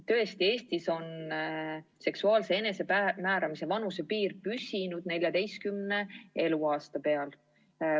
Tõesti, Eestis on seksuaalse enesemääramise vanusepiir püsinud 14 eluaasta peal.